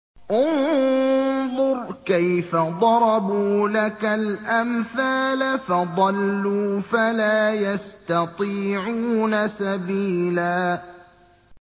انظُرْ كَيْفَ ضَرَبُوا لَكَ الْأَمْثَالَ فَضَلُّوا فَلَا يَسْتَطِيعُونَ سَبِيلًا